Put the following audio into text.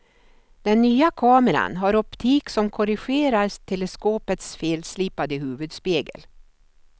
Den nya kameran har optik som korrigerar teleskopets felslipade huvudspegel.